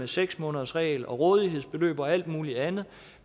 seks månedersregel og rådighedsbeløb og alt muligt andet